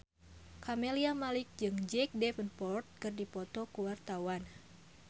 Camelia Malik jeung Jack Davenport keur dipoto ku wartawan